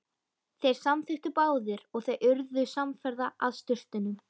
Þeir samþykktu báðir og þau urðu samferða að sturtunum.